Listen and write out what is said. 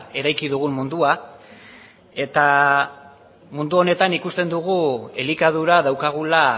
eraiki dugun mundua eta mundu honetan ikusten dugu elikadura daukagula